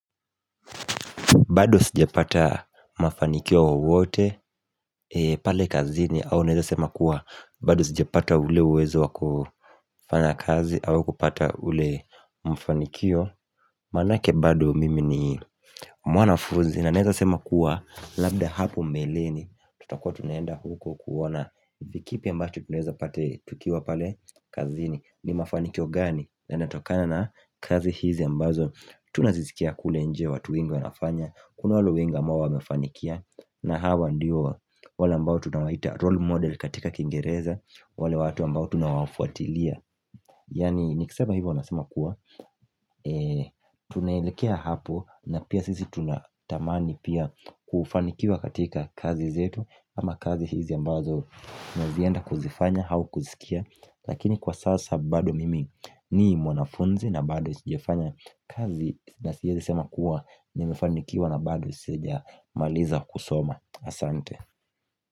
Bado sijapata mafanikiyo wowote pale kazini au naweza sema kuwa bado sijapata ule uwezo wakufanta kazi au kupata ule mfanikio Maanake bado mimi ni mwanafunzi na neweza sema kuwa labda hapo mbeleni tutakuwa tunaenda huko kuona ni kipi ambacho tunuweza pata tukiwa pale kazini ni mafanikio gani na natokana na kazi hizi ambazo Tunazisikia kule nje watu wengi wanafanya Kuna wale wengi ambao wamefanikia na hawa ndio wale ambao tunawaita role model katika kingereza wale watu ambao tunawafuatilia Yaani nikisema hivyo nasema kuwa tunaelekea hapo na pia sisi tunatamani pia kufanikia katika kazi zetu ama kazi hizi ambazo na zienda kuzifanya au kuzisikia Lakini kwa sasa bado mimi ni mwanafunzi na bado sijafanya kazi na siwezi sema kuwa Nimefanikiwa na bado sijamaliza kusoma Asante.